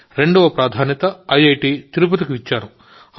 రెండవ ప్రాధాన్యత ఐఐటి తిరుపతికి ఇచ్చాను